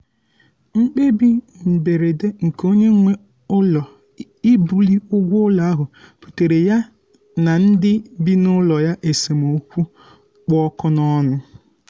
mkpebi mberede nke onye nwe ụlọ ibuli ụgwọ ụlọ ahụ buteere ya ndị bị n'ụlọ ya esemokwu kpụ ọkụ n'ọnụ